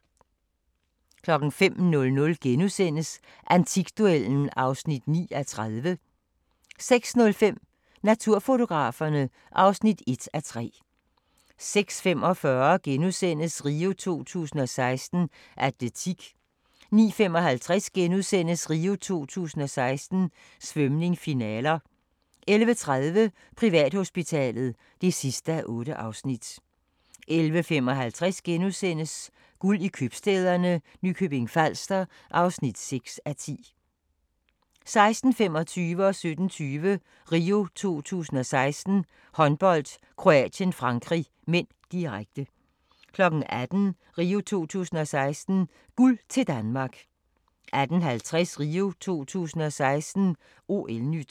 05:00: Antikduellen (9:30)* 06:05: Naturfotograferne (1:3) 06:45: RIO 2016: Atletik * 09:55: RIO 2016: Svømning, finaler * 11:30: Privathospitalet (8:8) 11:55: Guld i købstæderne – Nykøbing Falster (6:10)* 16:25: RIO 2016: Håndbold - Kroatien-Frankrig (m), direkte 17:20: RIO 2016: Håndbold - Kroatien-Frankrig (m), direkte 18:00: RIO 2016: Guld til Danmark 18:50: RIO 2016: OL-NYT